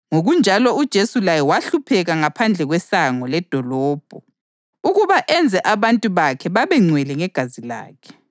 Ngokunjalo uJesu laye wahlupheka ngaphandle kwesango ledolobho ukuba enze abantu bakhe babengcwele ngegazi lakhe.